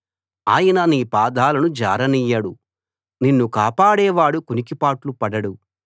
ఆయన నీ పాదాలను జారనియ్యడు నిన్ను కాపాడేవాడు కునికిపాట్లు పడదు